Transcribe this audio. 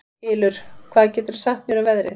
Ylur, hvað geturðu sagt mér um veðrið?